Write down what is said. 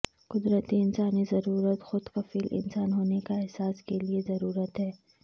قدرتی انسانی ضرورت خود کفیل انسان ہونے کا احساس کے لئے ضرورت ہے